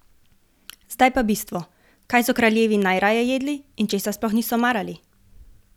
Zdaj pa bistvo, kaj so kraljevi najraje jedli in česa sploh niso marali?